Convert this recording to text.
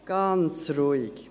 Ganz ruhig.